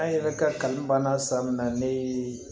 An yɛrɛ ka kanu b'a na san min na ne ye